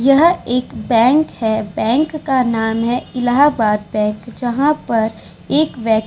यहाँ एक बैंक है बैंक का नाम है इलाहाबाद बैंक है जहां पर एक व्यक्ति--